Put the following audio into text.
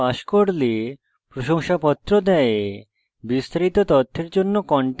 online পরীক্ষা pass করলে প্রশংসাপত্র দেয়